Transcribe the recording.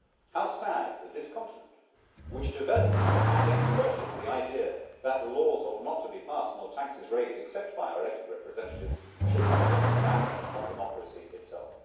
How sad that this Continent, which developed and exported the idea that laws ought not to be passed nor taxes raised except by our elected representatives, should have turned its back on democracy itself.